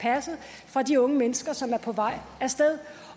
passet fra de unge mennesker som er på vej af sted